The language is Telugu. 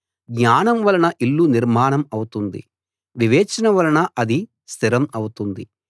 జ్ఞానం వలన ఇల్లు నిర్మాణం అవుతుంది వివేచన వలన అది స్థిరం అవుతుంది